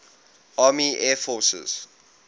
army air forces